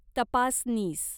तपासनीस